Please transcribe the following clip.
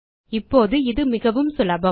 இப்போது இது மிகவும் சுலபம்